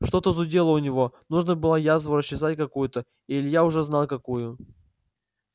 что-то зудело у него нужно было язву расчесать какую-то и илья уже знал какую